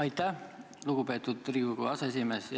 Aitäh, lugupeetud Riigikogu aseesimees!